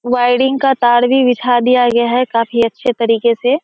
Wiring का तार बिछा दिया गया है काफी अच्छे तरीके से।